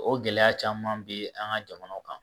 O gɛlɛya caman be an ka jamanaw kan